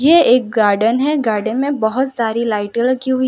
यह एक गार्डन है गार्डन में बहुत सारी लाइटें लगी हुई --